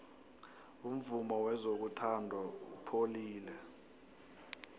umvumo wezothando upholile